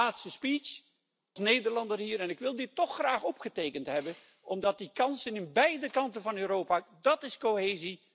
Dit is mijn laatste toespraak als Nederlander hier en ik wil dit toch graag opgetekend hebben omdat die kansen in beide kanten van Europa dat is cohesie! dienen te blijven.